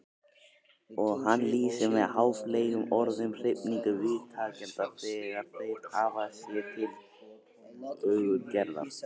Og hann lýsir með háfleygum orðum hrifningu viðtakenda þegar þeir hafa séð tillögur Gerðar.